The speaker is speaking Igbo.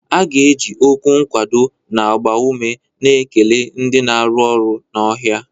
A ga-eji okwu nkwado na-agba ume na-ekele ndị na-arụ ọrụ n'ọhịa